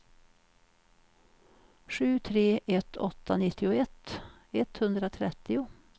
sju tre ett åtta nittioett etthundratrettio